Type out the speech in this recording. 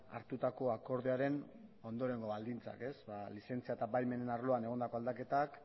hartutako akordioaren ondorengo baldintzak lizentzia eta baimenen arloan egondako aldaketak